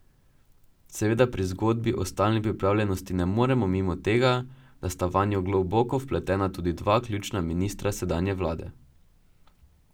Seveda pri zgodbi o stalni pripravljenosti ne moremo mimo tega, da sta vanjo globoko vpletena tudi dva ključna ministra sedanje vlade.